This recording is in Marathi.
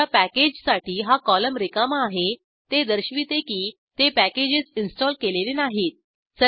ज्या पॅकेजसाठी हा कॉलम रिकामा आहे ते दर्शविते की ते पॅकेजेस इंस्टॉल केलेले नाहीत